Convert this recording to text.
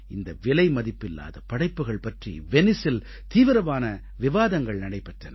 இந்த விலைமதிப்பில்லாத படைப்புக்கள் பற்றி வெனிஸில் தீவிரமான விவாதங்கள் நடைபெற்றன